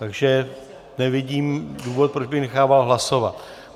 Takže nevidím důvod, proč bych nechával hlasovat.